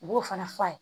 U b'o fana f'a ye